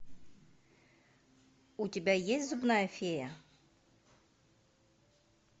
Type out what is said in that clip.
у тебя есть зубная фея